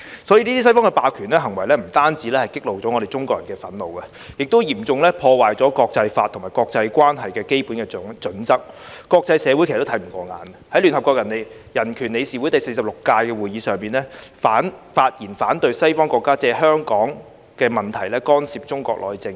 所以，這些西方的霸權行為不單激起了我們中國人的憤怒，亦嚴重破壞了國際法及國際關係的基本準則，國際社會其實都看不過眼，在聯合國人權理事會第46屆會議上，發言反對西方國家借香港問題干涉中國內政。